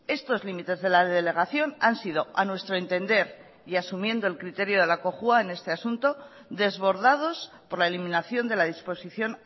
estos límites de la delegación han sido a nuestro entender y asumiendo el criterio de la cojua en este asunto desbordados por la eliminación de la disposición